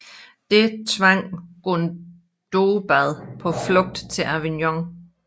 Det tvang Gundobad på flugt til Avignon